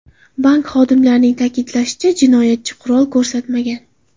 Bank xodimlarining ta’kidlashicha, jinoyatchi qurol ko‘rsatmagan.